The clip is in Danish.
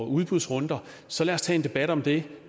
udbudsrunder så lad os tage en debat om det